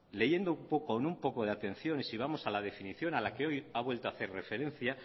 leyendo con un poco de atención si vamos a la definición a la que hoy ha vuelto a hacer referencia